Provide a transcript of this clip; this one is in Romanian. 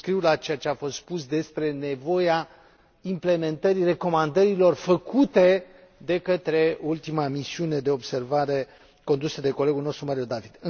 Subscriu la ceea ce a fost spus despre nevoia implementării recomandărilor făcute de către ultima Misiune de observare, condusă de colegul nostru Mario David.